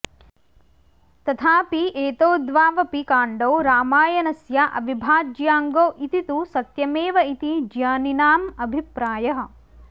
तथापि एतौ द्वावपि काण्डौ रामायणस्य अविभाज्याङ्गौ इति तु सत्यमेव इति ज्ञानिनामभिप्रायः